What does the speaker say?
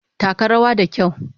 Taka rawa da kyau!